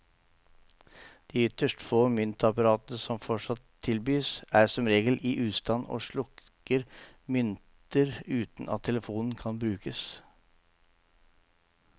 De ytterst få myntapparatene som fortsatt tilbys, er som regel i ustand og sluker mynter uten at telefonen kan brukes.